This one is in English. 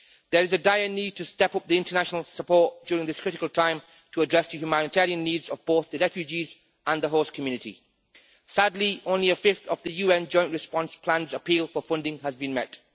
There is a dire need to step up the international support during this critical time, to address the humanitarian needs of both the refugees and the whole community. Sadly, only one fifth of the UN Joint Response Plan's appeal for funding has been met.